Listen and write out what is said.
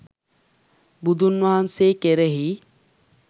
බුදුන් වහන්සේ කෙරෙහි